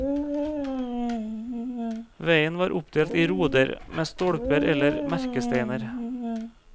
Veien var oppdelt i roder med stolper eller merkesteiner.